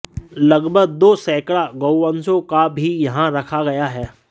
लगभग दो सैकड़ा गोवंशों को भी यहां रखा गया है